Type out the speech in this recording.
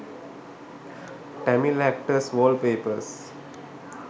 tamil actors wall papers